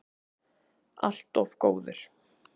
Allt of góður.